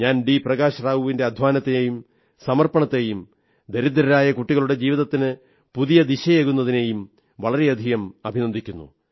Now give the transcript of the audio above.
പ്രകാശ് റാവുവിന്റെ അധ്വാനത്തെയും സമർപ്പണത്തെയും ദരിദ്രരായ കുട്ടികളുടെ ജീവിതത്തിന് പുതിയ ദിശയേകുന്നതിനെയും വളരെയധികം അഭിനന്ദിക്കുന്നു